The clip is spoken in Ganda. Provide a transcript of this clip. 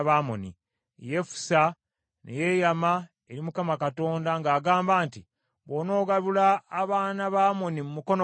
Yefusa ne yeeyama eri Mukama Katonda ng’agamba nti, “Bw’onogabula abaana ba Amoni mu mukono gwange,